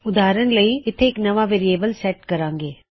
ਉਦਾਰਨ ਲਈ ਇੱਥੇ ਇੱਕ ਨਵਾਂ ਵੇਅਰਿਏਬਲ ਸੈਟ ਕਰਾਂਗੇ